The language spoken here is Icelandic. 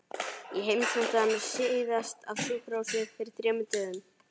Ég heimsótti hana síðast á sjúkrahúsið fyrir þremur dögum.